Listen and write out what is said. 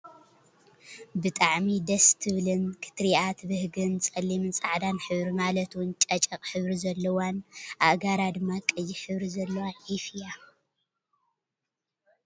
ብጣዕሚ ደስ ትብልን ክትርእያ ተብህግን ፀሊምኝን ፃዕዳን ሕብሪ ማለት እውን ጨጨቅ ሕብሪ ዘለዋን ኣእጋራ ድማ ቀይሕ ሕብሪ ዘለዋ ዒፍ እያ።